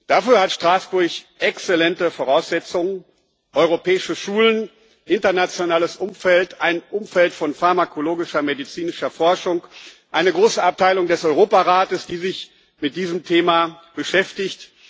Dafür hat Straßburg exzellente Voraussetzungen europäische Schulen, ein internationales Umfeld, ein Umfeld von pharmakologischer und medizinischer Forschung, eine große Abteilung des Europarates, die sich mit diesem Thema beschäftigt.